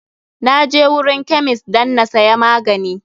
Na je wurin kemist dan na siya magani.